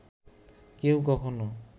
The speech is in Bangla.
কেউ কখনো